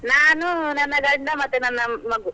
ನಾನು ನನ್ನ ಗಂಡ ಮತ್ತೆ ನನ್ನ ಮಗು.